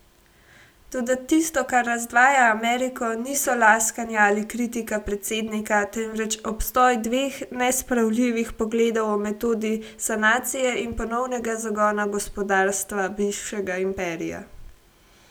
Toda tisto, kar razdvaja Ameriko, niso laskanja ali kritika predsednika, temveč obstoj dveh nespravljivih pogledov o metodi sanacije in ponovnega zagona gospodarstva bivšega imperija.